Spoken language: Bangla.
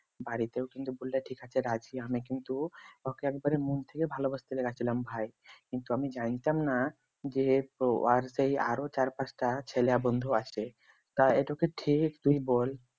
বাড়িতেও কিন্তু বললে ঠিক আছে, রাজি, আমি কিন্তু ওকে একেবারে মন থেকে ভালবাসতে লেগেছিলাম ভাই কিন্তু আমি জানতাম না যে ওর সে আরো চার-পাঁচটা ছেলে বন্ধু আছে। তা এইতো ঠিক তুই বল